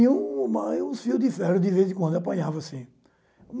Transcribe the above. E uma e um fio de ferro, de vez em quando, apanhava assim.